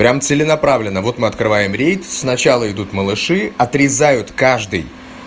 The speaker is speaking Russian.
прямо целенаправленно вот мы открываем рейд сначала идут малыши отрезают каждый